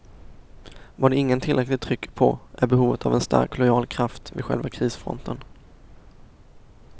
Vad ingen tillräckligt trycker på är behovet en stark, lojal kraft vid själva krisfronten.